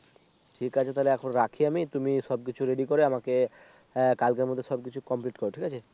ঠিক আছে তাহলে এখন রাখি আমি। তুমি সব কিছু Ready করে আমাকে কালকের মধ্যে সবকিছু Complete কর ঠিক আছে